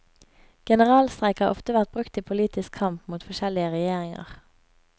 Generalstreik har ofte vært brukt i politisk kamp mot forskjellige regjeringer.